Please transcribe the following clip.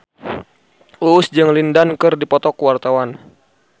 Uus jeung Lin Dan keur dipoto ku wartawan